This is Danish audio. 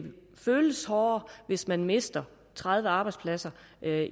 føles hårdere hvis man mister tredive arbejdspladser